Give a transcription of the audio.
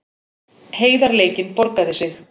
Heiðarleikinn borgaði sig